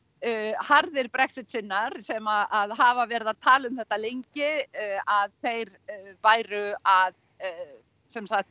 harðir Brexit sinnar sem hafa verið að tala um þetta lengi að þeir væru að sem sagt